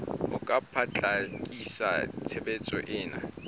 ho ka potlakisa tshebetso ena